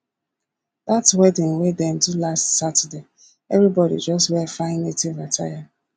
dat wedding wey dem do last saturday everybodi just wear fine native attire